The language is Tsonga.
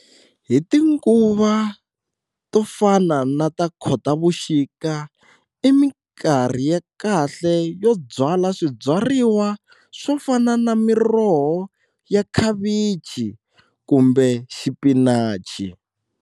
Hi tinguva to fana na ta Khotavuxika i minkarhi ya kahle yo byala swibyariwa swo fana na miroho ya khavichi kumbe xipinachi.